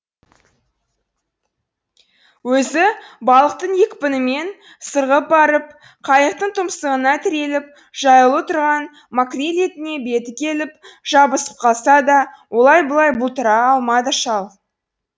өзі балықтың екпінімен сырғып барып қайықтың тұмсығына тіреліп жаюлы тұрған макрель етіне беті келіп жабысып қалса да олай бұлай бұлтара алмады шал